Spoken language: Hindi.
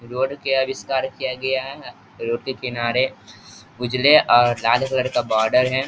रोड के आविष्कार किया गया है रोड के किनारे उजाले और लाल कलर का बॉर्डर है।